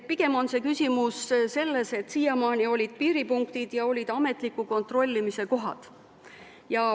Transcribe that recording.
Pigem on küsimus selles, et siiamaani olid piiripunktid ja olid ametliku kontrollimise kohad.